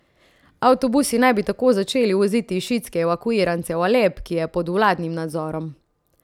Avtobusi naj bi tako začeli voziti šiitske evakuirance v Alep, ki je pod vladnim nadzorom.